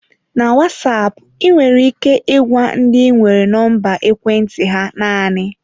Na Wasap, ị nwere ike ịgwa ndị ị nwere nọmba ekwentị ha naanị.